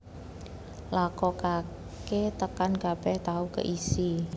Lakokaké tekan kabèh tahu keisi